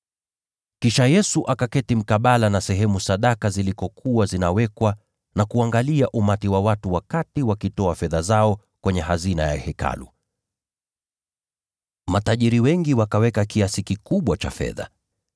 Kisha Yesu akaketi mkabala na sehemu ambapo sadaka zilikuwa zinawekwa na kuangalia umati wa watu wakiweka fedha zao kwenye sanduku la hazina ya Hekalu. Matajiri wengi wakaweka kiasi kikubwa cha fedha.